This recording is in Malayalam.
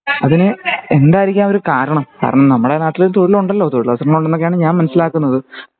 അതിന് എന്തായിരിക്കാം ഒരു കാരണം കാരണം നമ്മുടെ നാട്ടിൽ തൊഴിലുണ്ടല്ലോ തൊഴിലവസരങ്ങൾ ഉണ്ടന്നൊക്കെ ആണ് ഞാൻ മനസിലാകുന്നത്